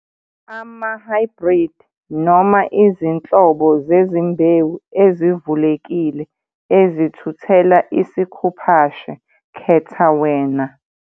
Amahhaybhridi noma izinhlobo zezimbewu ezivulekile ezithuthela isikhuphashe - khetha wena.